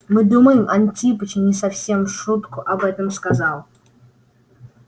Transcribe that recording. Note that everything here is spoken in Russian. мы думаем антипыч не совсем в шутку об этом сказал